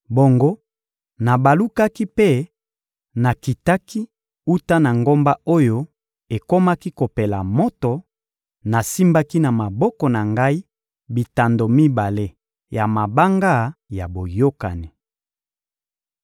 Bongo nabalukaki mpe nakitaki wuta na ngomba oyo ekomaki kopela moto; nasimbaki na maboko na ngai bitando mibale ya mabanga ya boyokani.